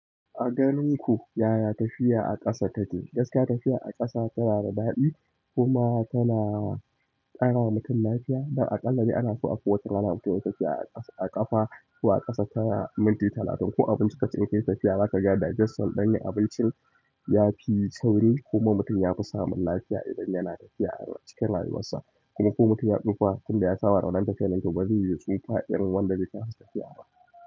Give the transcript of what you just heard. A ganin ku, yaya tafiya a ƙasa take? Gaskiya tafiya a ƙasa tana da daɗi kuma tana ƙara wa mutum lafiya. Don a ƙallane ana so a kowace rana mutum yayi tafiya a ƙafa ko a ƙasa ta minti talatin. Ko abinci ka ci in kayi tafiya, za ka ga digeston ɗin abincin ya fi sauri kuma mutum ya fi samun lafiya idan yana tafiya a cikin rayuwarsa. Kuma ko mutum ya tsufa tun da ya saba waɗannan tafiyar, nan to ba zai yi tsufa irin wanda ba zai kasa tafiya ba.